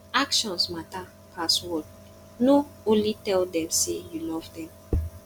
actions mata pass word no only tell them sey you love them